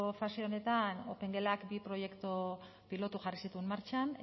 fase honetan opengelak bi proiektu pilotu jarri zituen martxan